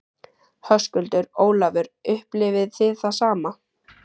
Höskuldur: Ólafur, upplifið þið það sama?